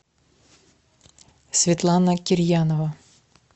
светлана кирьянова